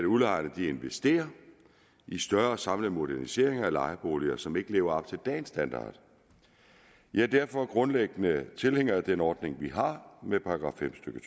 udlejerne investerer i større samlede moderniseringer af lejeboliger som ikke lever op til dagens standard jeg er derfor grundlæggende tilhænger af den ordning vi har med § fem stykke